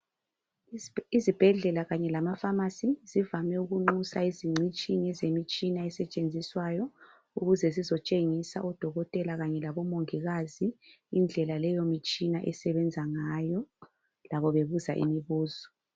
Izibhedlela kanye lamapharmacy zivame ukunxusa izingcitshi ngezemitshina esetshenziswayo ukuze zizotshengisa odokotela kanye labomongikazi indlela leyomitshina esebenza ngayo , labo bebuza imibuzo